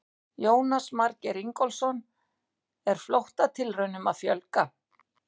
Jónas Margeir Ingólfsson: Er flóttatilraunum að fjölga?